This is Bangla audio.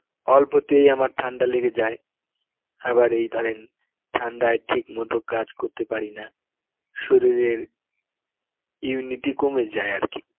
অল্পতেই আমার ঠান্ডা লেগে যায় আবার এই ধরেন ঠান্ডায় ঠিকমতো কাজ করতে পারিনা শরীরের immunity কমে যায় আরকি.